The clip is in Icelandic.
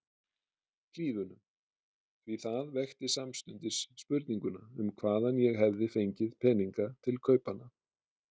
Hlíðunum, því það vekti samstundis spurninguna um hvaðan ég hefði fengið peninga til kaupanna.